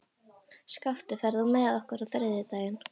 Skafti, ferð þú með okkur á þriðjudaginn?